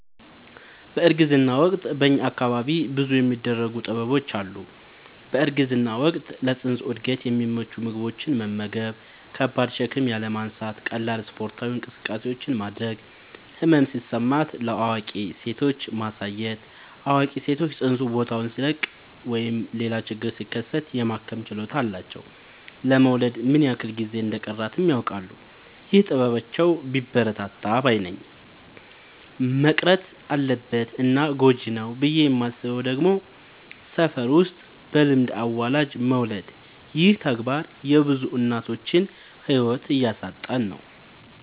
በእርግዝና ወቅት በእኛ አካባቢ ብዙ የሚደረጉ ጥበቦች አሉ። በእርግዝና ወቅት ለፅንሱ እድገት የሚመቹ ምግቦችን መመገብ። ከባድ ሸክም ያለማንሳት ቀላል ስፓርታዊ እንቅስቃሴዎችን ማድረግ። ህመም ሲሰማት ለአዋቂ ሴቶች ማሳየት አዋቂ ሰዎች ፅንሱ ቦታውን ሲለቅ ሌላ ችግር ሲከሰት የማከም ችሎታ አላቸው ለመወለድ ምን ያክል ጊዜ እንደ ሚቀረውም ያውቃሉ። ይህ ጥበባቸው ቢበረታታ ባይነኝ። መቅረት አለበት እና ጎጂ ነው ብዬ የማስበው ደግሞ ሰፈር ውስጥ በልምድ አዋላጅ መውለድ ይህ ተግባር የብዙ እናቶችን ህይወት እያሳጣን ነው።